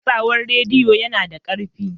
Watsawar rediyo yana da ƙarfi.